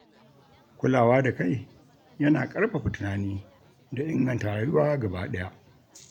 Kulawa da kai yana ƙarfafa tunani da inganta rayuwa gaba ɗaya.